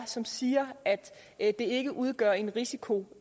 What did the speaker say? som siger at det ikke udgør en risiko